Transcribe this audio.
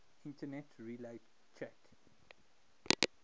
internet relay chat